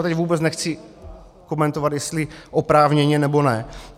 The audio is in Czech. A teď vůbec nechci komentovat, jestli oprávněně, nebo ne.